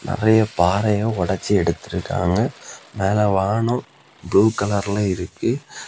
நெறைய பாறைய ஒடச்சு எடுத்துருக்காங்க. மேல வானம் ப்ளூ கலர்ல இருக்கு.